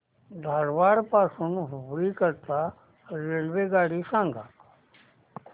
धारवाड पासून हुबळी करीता रेल्वेगाडी सांगा